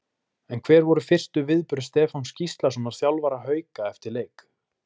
En hver voru fyrstu viðbrögð Stefáns Gíslasonar þjálfara Hauka eftir leik?